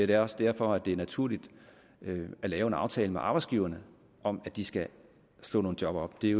det er også derfor at det er naturligt at lave en aftale med arbejdsgiverne om at de skal slå nogle job op det